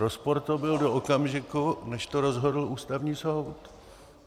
Rozpor to byl do okamžiku, než to rozhodl Ústavní soud.